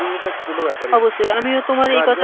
শরীরের কাছে কোনো ব্যাপার ই না, অবশ্যই,